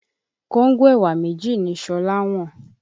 Kóńgò ẹ̀wà méjì ni Ṣọlá wọ́n.